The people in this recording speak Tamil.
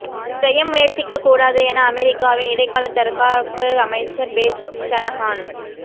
செய்ய முயற்சிக்கக்கூடாது என அமெரிக்காவின் இடைக்காலத் தற்காப்பு அமைச்சர் பேட்ரிக் ஷனஹான்